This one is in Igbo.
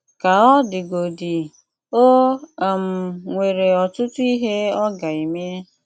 Kà ọ̀ dìgòdí, ò um nwerè ọ̀tụ̀tụ̀ ihe ọ̀ gà-ème.